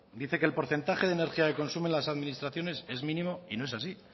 dice que el porcentaje de energía de consumo en las administraciones es mínimo y no es así